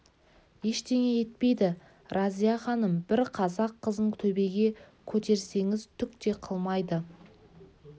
ештеңе етпейді разия-ханым бір қазақ қызын төбеге көтерсеңіз түк те қылмайды